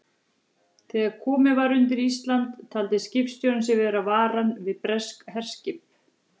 Þegar komið var undir Ísland, taldi skipstjórinn sig verða varan við breskt herskip.